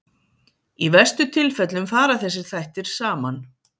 Í verstu tilfellum fara þessir þættir saman.